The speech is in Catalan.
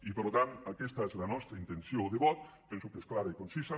i per tant aquesta és la nostra intenció de vot penso que és clara i concisa